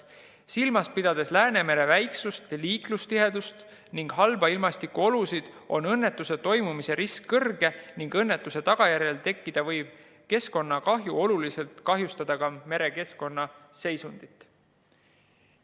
Silmas pidades Läänemere väiksust, liiklustihedust ning halbu ilmastikuolusid, on õnnetuse toimumise risk kõrge ning õnnetuse tagajärjel tekkida võiv keskkonnakahju võib oluliselt kahjustada ka merekeskkonna seisundit.